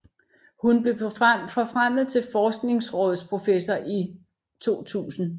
Hun blev forfremmet til forskningsrådsprofessor i 2000